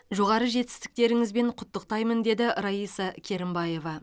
жоғары жетістіктеріңізбен құттықтаймын деді раиса керімбаева